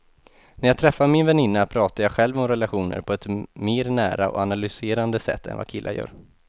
När jag träffar min väninna pratar jag själv om relationer på ett mer nära och analyserande sätt än vad killar gör.